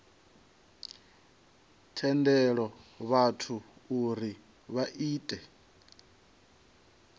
tendela vhathu uri vha ite